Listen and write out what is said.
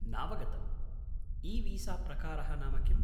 नावगतम्, 'ईवीसाप्रकारः' नाम किम्?